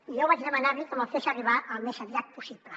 i jo vaig demanar li que me’l fes arribar al més aviat possible